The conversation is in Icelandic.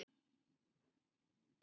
Hverjir eru litir hesta?